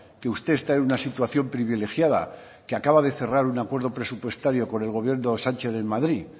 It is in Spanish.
que usted está en una situación privilegiada que acaba de cerrar un acuerdo presupuestario con el gobierno de sánchez en madrid